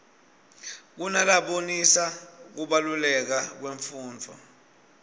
kunalabonisa kubaluleka kwemfundvo